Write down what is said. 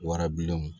Warabilenw